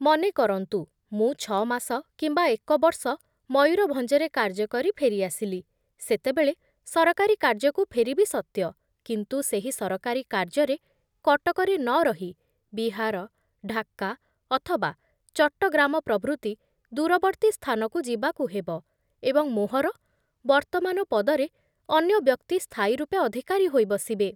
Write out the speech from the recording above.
ମନେ କରନ୍ତୁ, ମୁଁ ଛଅମାସ କିମ୍ବା ଏକବର୍ଷ ମୟୂରଭଞ୍ଜରେ କାର୍ଯ୍ୟ କରି ଫେରି ଆସିଲି, ସେତେବେଳେ ସରକାରୀ କାର୍ଯ୍ୟକୁ ଫେରିବି ସତ୍ୟ, କିନ୍ତୁ ସେହି ସରକାରୀ କାର୍ଯ୍ୟରେ କଟକରେ ନ ରହି ବିହାର, ଢାକା ଅଥବା ଚଟ୍ଟଗ୍ରାମ ପ୍ରଭୃତି ଦୂରବର୍ତୀ ସ୍ଥାନକୁ ଯିବାକୁ ହେବ ଏବଂ ମୋହର ବର୍ତ୍ତମାନ ପଦରେ ଅନ୍ୟ ବ୍ୟକ୍ତି ସ୍ଥାୟୀ ରୂପେ ଅଧିକାରୀ ହୋଇ ବସିବେ ।